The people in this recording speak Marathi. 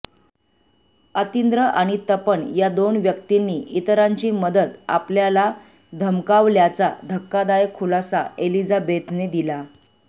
अतिंद्र आणि तपन या दोन व्यक्तींनी इतरांची मदत आपल्याला धमकावल्याचा धक्कादायक खुलासा एलिझाबेथने दिला